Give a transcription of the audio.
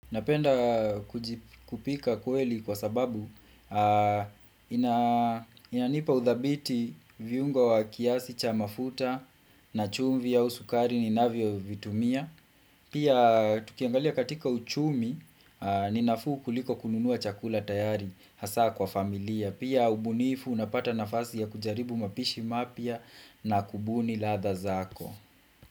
Napenda kupika kweli kwa sababu inanipa udhabiti viungo wa kiasi cha mafuta na chumvi ya usukari ni navio vitumia. Pia tukiangalia katika uchumi ni nafuu ku liko kununua chakula tayari hasa kwa familia. Pia ubunifu unapata nafasi ya kujaribu mapishi mapia na kubuni latha zako.